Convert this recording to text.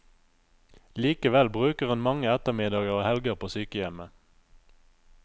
Likevel bruker hun mange ettermiddager og helger på sykehjemmet.